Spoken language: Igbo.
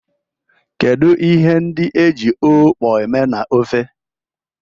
Kedu ihe ndi eji okpor eme na ofe?